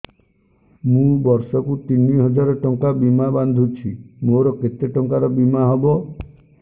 ମୁ ବର୍ଷ କୁ ତିନି ହଜାର ଟଙ୍କା ବୀମା ବାନ୍ଧୁଛି ମୋର କେତେ ଟଙ୍କାର ବୀମା ହବ